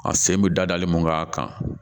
A sen bɛ dadali mun k'a kan